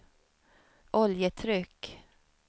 oljetryck